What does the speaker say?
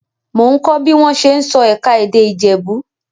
Mò ń kọ́ bí wọ́n ṣe ń sọ ẹ̀ka-èdè Ìjẹ̀bú.